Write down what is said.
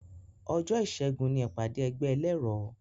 Òjó ìṣẹ́gun ni ìpàdé ẹgbẹ́ ẹlẹ́rọ